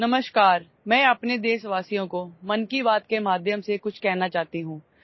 নমস্কাৰ মন কী বাতৰ জৰিয়তে মোৰ দেশবাসীক কিবা এটা কব বিচাৰিছো